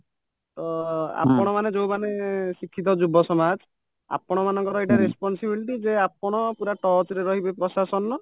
ତ ଆପଣମାନେ ଯୋଉମାନେ ଶିକ୍ଷିତ ଯୁବ ସମାଜ ଆପଣମାନଙ୍କର ଏଇଟା responsibilityଯେ ଆପଣ touchରେ ରହିବେ ପ୍ରଶାସନର